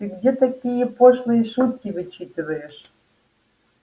ты где такие пошлые шутки вычитываешь